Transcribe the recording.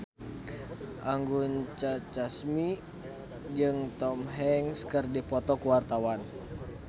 Anggun C. Sasmi jeung Tom Hanks keur dipoto ku wartawan